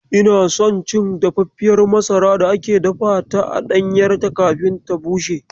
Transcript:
Ina son cin dafaffiyar masarar da aka dafa ta a ɗanyarta kafin ta bushe.